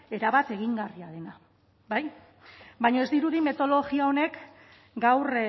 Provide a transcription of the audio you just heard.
erabat egingarria dena bai baina ez dirudi metodologia honek gaur